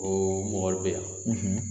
O mɔgɔ bɛ yan